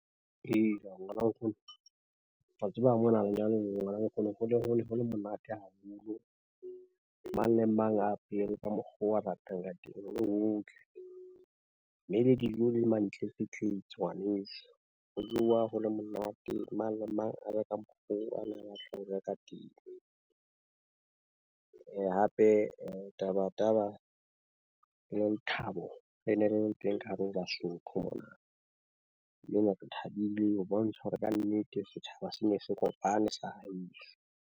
Hela ngwana nkgono wa tseba mona lenyalo, ngwana nkgono ho ne ho le, monate haholo. Mang le mang a apere ka mokgo a ratang ka teng ho le ho tle. Mme le dijo e le mantletsetletse ngwaneso ho jowa ho le monate. Mang le mang a ja ka mokgo ana a tlo ka teng. Hape taba taba e le lethabo le ne le le teng ka hare ho Basotho. Mona re thabile, o bontsha hore kannete setjhaba se ne se kopane sa .